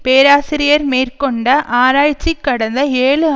பேராசிரியர் மேற்கொண்ட ஆராய்ச்சி கடந்த ஏழு